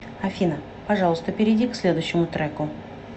афина пожалуйста перейди к следующему треку